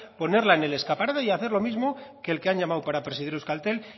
ponerla en el escaparate y hacer lo mismo que el que han llamado para presidir euskaltel